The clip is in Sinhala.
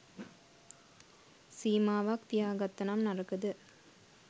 සීමාවක් තියා ගත්තනම් නරකද?